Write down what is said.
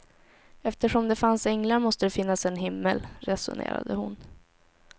Eftersom det fanns änglar måste det finnas en himmel, resonerade hon.